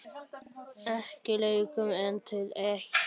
Ekki lengur en til eitt.